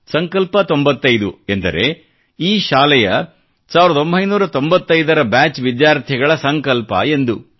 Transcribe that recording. ಸಂಕಲ್ಪ 95 ಎಂದರೆ ಈ ಶಾಲೆಯ 1995 ರ ಬ್ಯಾಚ್ ವಿದ್ಯಾರ್ಥಿಗಳ ಸಂಕಲ್ಪ ಎಂದು